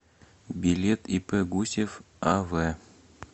билет ип гусев ав